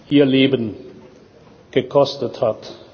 ihr Leben gekostet hat.